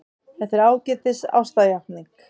Það er ágætis ástarjátning.